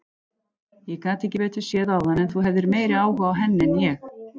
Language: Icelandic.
Ég gat ekki betur séð áðan en þú hefðir meiri áhuga á henni en ég.